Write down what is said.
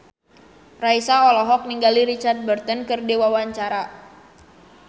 Raisa olohok ningali Richard Burton keur diwawancara